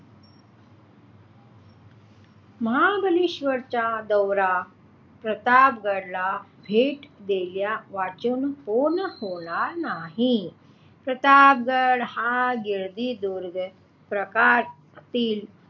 महाबळेश्वरचा दौरा प्रतापगडाला भेट दिल्यावाचून पूर्ण होणार नाही. प्रतापगड हा गिरिदुर्ग प्रकारातील,